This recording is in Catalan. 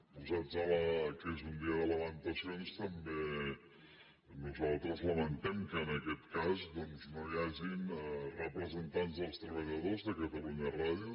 posats que és un dia de lamentacions també nosaltres lamentem que en aquest cas doncs no hi hagin representants dels treballadors de catalunya ràdio